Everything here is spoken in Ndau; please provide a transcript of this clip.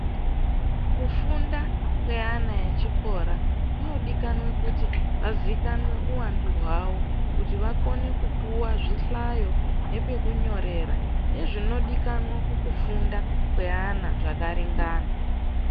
Kufunda kweana echikora kunodikanwa kuti azikanwe uwandu hwawo kuti akone kupuwa zvihlayo nepekunyorera, nezvinodikanwa mukufunda kweana zvakaringana.